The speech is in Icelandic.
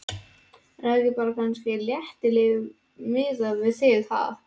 En það er kannski bara letilíf miðað við þig, ha?!